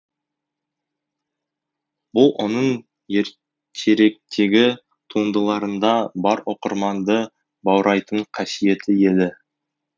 бұл оның ертеректегі туындыларында бар оқырманды баурайтын қасиеті еді